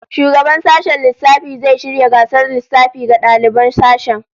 Shugaban sashen lissafi zai shirya gasar lissafi ga daliban sashen